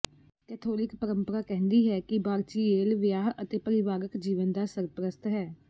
Catholic ਪਰੰਪਰਾ ਕਹਿੰਦੀ ਹੈ ਕਿ ਬਾਰਚੀਏਲ ਵਿਆਹ ਅਤੇ ਪਰਿਵਾਰਕ ਜੀਵਨ ਦਾ ਸਰਪ੍ਰਸਤ ਹੈ